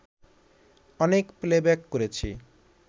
অনেক প্লেব্যাক করেছি